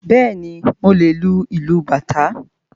Bẹ́ẹ̀ni, mo lè lu ìlú bàtá